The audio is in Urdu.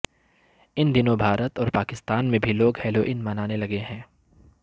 ان دنوں بھارت اور پاکستان میں بھی لوگ ہیلوئین منانے لگے ہیں